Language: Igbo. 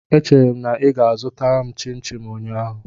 Echere m na ị ga-azụta m chimchim ụnyaahụ.